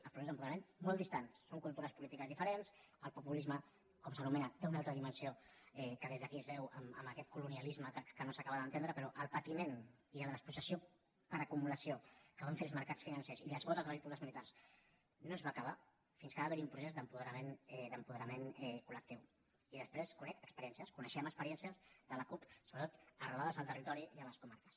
el procés d’apoderament molt distant són cultures polítiques diferents el populisme com s’anomena té una altra dimensió que des d’aquí es veu amb aquest colonialisme que no s’acaba d’entendre però el patiment i la despossessió per acumulació que van fer els mercats financers i les botes de les dictadures militars no es va acabar fins que va haverhi un procés d’apoderament col·i després conec experiències coneixem experiències de la cup sobretot arrelades al territori i a les comarques